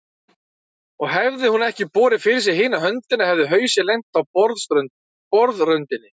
Og hefði hún ekki borið fyrir sig hina höndina hefði hausinn lent á borðröndinni.